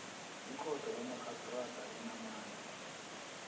ikhotho kamarhistrada enamandla